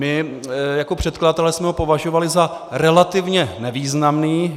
My jako předkladatelé jsme ho považovali za relativně nevýznamný.